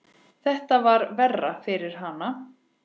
Þetta var verra fyrir hana.